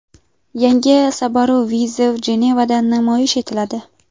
Yangi Subaru Viziv Jenevada namoyish etiladi.